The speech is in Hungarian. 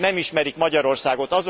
Önök nem ismerik Magyarországot.